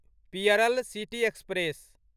Pearl city express